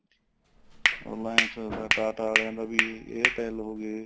reliance ਦਾ TATA ਵਾਲੀਆਂ ਦਾ ਵੀ airtel ਹੋ ਗਏ